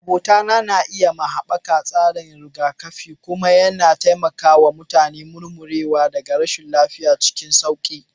Abota na iya ma haɓaka tsarin rigakafi kuma yana taimakawa mutane murmurewa daga rashin lafiya cikin sauri.